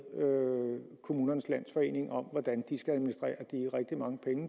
kommunernes landsforening om hvordan